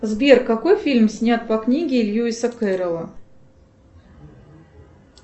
сбер какой фильм снят по книге льюиса кэрола